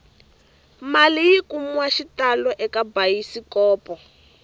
mali yi kumiwahi xitalo eka bayisikopo